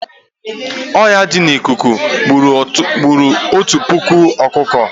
Ọya di n'ikuku gburu Otu puku ọkụkọ